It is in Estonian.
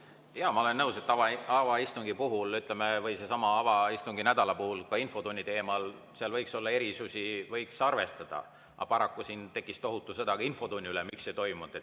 Jaa, ma olen nõus, et avaistungi puhul, ütleme, või sellesama avanädala puhul ka infotunni teemal võiks olla erisusi, mida võiks arvestada, aga paraku siin tekkis tohutu sõda ka infotunni üle, et miks seda ei toimunud.